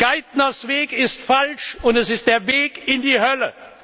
Geithners Weg ist falsch, und es ist der Weg in die Hölle.